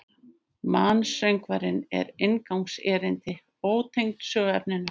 Mansöngvarnir eru inngangserindi, ótengd söguefninu.